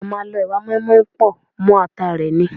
A máa ń lọ ẹwà mọ́ínmọ́ín pọ̀ mọ́ ata rẹ ni.